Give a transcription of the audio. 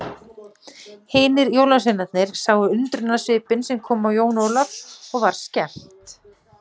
Hinir jólasveinarnir sáu undrunarsvipinn sem kom á Jón Ólaf og var skemmt.